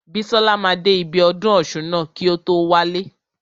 Bísọ́la máa dé ibi ọdún ọ̀ṣun ná kí o tó wálé.